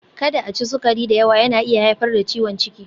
Kada a ci sukari da yawa, yana iya haifar da ciwon ciki.